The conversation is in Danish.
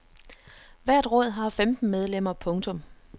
Hvert råd har femten medlemmer. punktum